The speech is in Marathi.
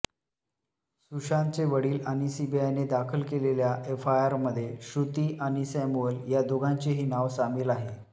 सुशांतचे वडील आणि सीबीआयने दाखल केलेल्या एफआयआरमध्ये श्रुती आणि सॅम्युअल या दोघांचेही नाव सामिल आहे